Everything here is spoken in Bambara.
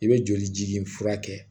I bɛ joli ji nin fura kɛ